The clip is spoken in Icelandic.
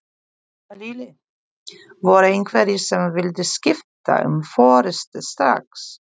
Lillý: Voru einhverjir sem vildu skipta um forystu strax?